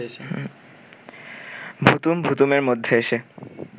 ভুতুম ভুতুমের মধ্যে এসে